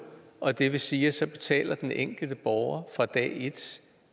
og det vil sige at så betaler den enkelte borger fra dag et